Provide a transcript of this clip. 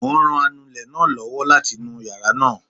Mo ń ran anulẹ̀ náà lọ́wọ́ láti nu yàrá náà